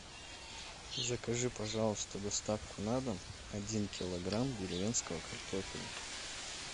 закажи пожалуйста доставку на дом один килограмм деревенского картофеля